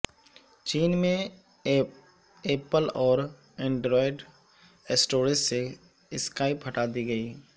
چین میں ایپل اور Android stores سے سکائپ ہٹا دی گئی